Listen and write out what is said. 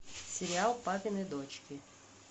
сериал папины дочки